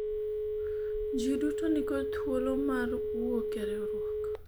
jii duto nikod thuolo mar wuok e riwruok